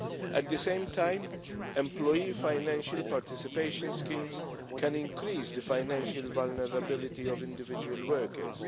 At the same time, employee financial participation schemes can increase the financial vulnerability of individual workers.